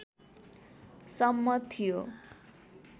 सम्म थियो